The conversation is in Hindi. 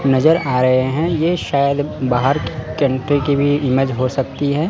नजर आ रहे हैं यह शायद बाहर कंट्री की भी इमेज हो सकती है।